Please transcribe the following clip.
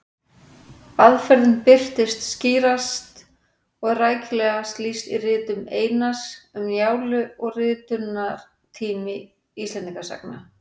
Aðferðin birtist skýrast og er rækilegast lýst í ritum Einars, Um Njálu og Ritunartími Íslendingasagna.